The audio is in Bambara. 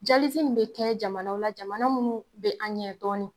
in be kɛ jamanaw la, jamana munnu be an ɲɛ dɔɔni.